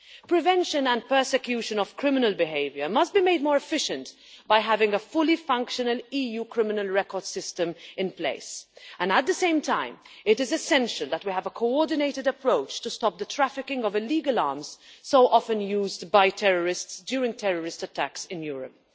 Prevention and prosecution of criminal behaviour must be made more efficient by having a fully functioning EU criminal record system in place, and at the same time it is essential that we have a coordinated approach to stop the trafficking of illegal arms so often used by terrorists during terrorist attacks in Europe.